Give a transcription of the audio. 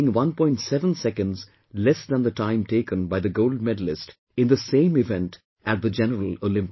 7 seconds less than the time taken by the gold medalist in the same event at the general Olympics